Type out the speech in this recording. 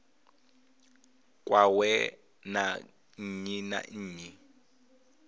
kwawe na nnyi na nnyi